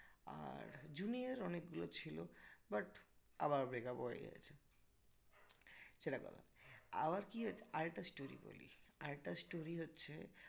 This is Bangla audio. আর junior অনেকগুলো ছিল but আবার breakup হয়ে গেছে সেটা বলো আবার কি হয়েছে আরেকটা story বলি আর একটা story হচ্ছে